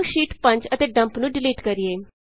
ਆਉ ਸ਼ੀਟ 5 ਅਤੇ ਡੱਮਪ ਨੂੰ ਡਿਲੀਟ ਕਰੀਏ